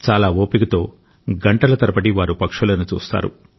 చాలా ఓపికతో గంటల తరబడివారు పక్షులను చూస్తారు